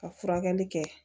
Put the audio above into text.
Ka furakɛli kɛ